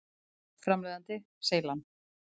Framleiðandi: Seylan.